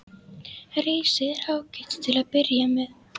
Risið er ágætt til að byrja með.